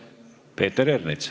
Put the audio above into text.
Peeter Ernits.